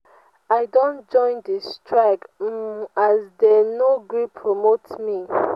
i don join di strike um as dey no gree promote me.